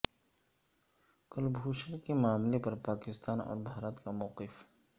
کلبھوشن کے معاملے پر پاکستان اور بھارت کا موقف